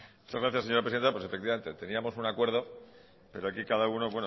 muchas gracias señora presidenta pues efectivamente teníamos un acuerdo pero aquí cada uno